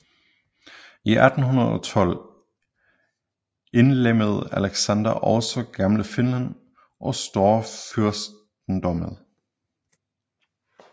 I 1812 indlemmede Alexander også Gamle Finland i storfyrstendømmet